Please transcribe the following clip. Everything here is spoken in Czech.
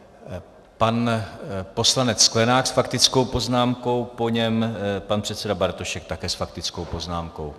Pan poslanec Sklenák s faktickou poznámkou, po něm pan předseda Bartošek také s faktickou poznámkou.